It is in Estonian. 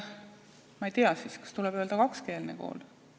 Ma ei tea, kas tuleb öelda, et ta on kakskeelne kool.